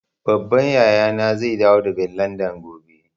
Babban yaya na zai dawo daga Landan gobe